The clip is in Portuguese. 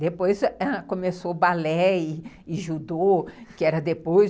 Depois, ãh, começou o balé e judô, que era depois.